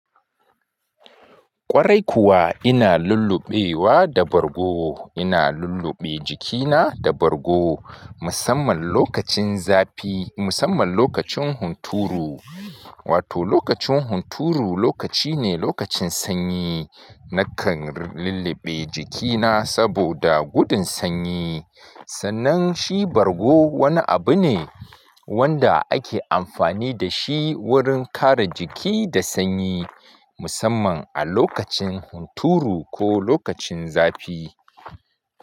Ƙwarai kuwa ina lulluɓewa da bargo. Ina lulluɓe jikina da bargo musamman lokacin zafi, musamman lokacin hunturu. Wato lokacin hunturu lokaci ne, lokacin sanyi. Nakan lulluɓe jikina saboda gudun sanyi. Sannan shi bargo wani abu ne wanda ake amfani da shi wurin kare jiki da sanyi musamman a lokacin hunturu ko lokacin zafi.